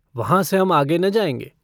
वहाँ से हम आगे न जायेंगे।